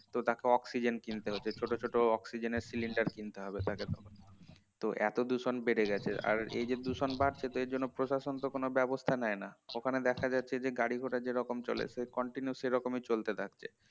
তো তাকে অক্সিজেন কিনতে হবে ছোট ছোট অক্সিজেন এর সিলিন্ডার কিনতে হবে তাকে তখন তো এতদূষণ বেড়ে গেছে আর এই যে দূষণ বাড়ছে এর জন্য প্রশাসন তো কোন ব্যবস্থা নেয় না ওখানে দেখা যাচ্ছে যে গাড়ি গুড়া যে রকম চলছে continuous সেরকমই চলে যাচ্ছে